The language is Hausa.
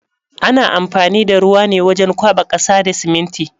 Ana amfani da ruwa ne wajen kwaɓa ƙasa da siminti.